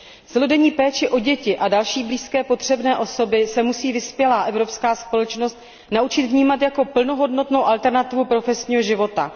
Celodenní péči o děti a další blízké potřebné osoby se musí vyspělá evropská společnost naučit vnímat jako plnohodnotnou alternativu profesního života.